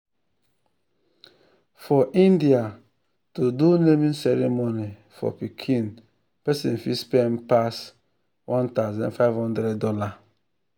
for india to do naming ceremony for pikin persin fit spend passone thousand five thousand dollars